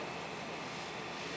Yox, yox, yox.